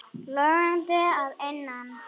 Logandi að innan.